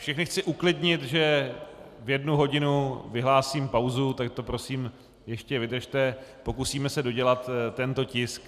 Všechny chci uklidnit, že v jednu hodinu vyhlásím pauzu, tak to prosím ještě vydržte, pokusíme se dodělat tento tisk.